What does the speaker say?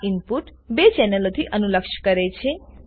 આ ઈનપુટ બે ચેનલોથી અનુલક્ષ કરે છે